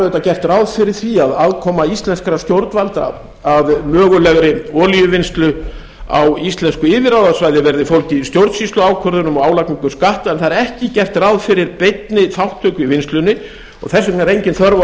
auðvitað gert ráð fyrir því að aðkoma íslenskra stjórnvalda að mögulegri olíuvinnslu á íslensku yfirráðasvæði verði fólgið í stjórnsýsluákvörðunum og álagningu skatta en það er ekki gert ráð fyrir beinni þátttöku í vinnslunni og þess vegna er engin þörf á að